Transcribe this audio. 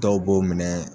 Dɔw b'o minɛ